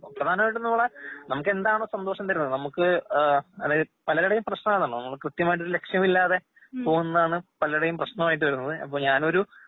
പ്രാധാനമായിട്ടുംനമ്മളെ നമുക്കെന്താണോ സന്തോഷംതരുന്നത് നമുക്ക് ഏഹ് പലരുടെയും പ്രശ്നമാണല്ലോ നമ്മൾക്രിത്യമായിട്ടൊരു ലക്ഷ്യമില്ലാതെ പോകുന്നാണ് പലരുടെയും പ്രശ്നമായിട്ട് വരുന്നത്. അപ്പൊ ഞാനൊരു